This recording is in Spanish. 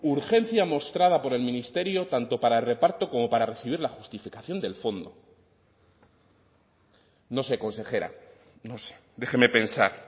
urgencia mostrada por el ministerio tanto para el reparto como para recibir la justificación del fondo no sé consejera no sé déjeme pensar